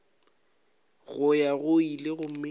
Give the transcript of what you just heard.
go ya go ile gomme